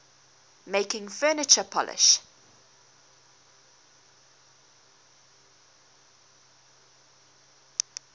making furniture polish